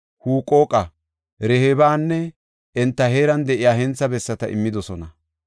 Huqooqa, Rehoobanne enta heeran de7iya hentha bessata immidosona.